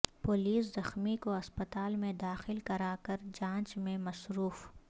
police زخمی کو اسپتال میں داخل کراکر جانچ میں مصروف